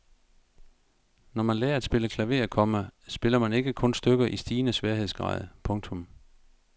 Når man lærer at spille klaver, komma spiller man ikke kun stykker i stigende sværhedsgrad. punktum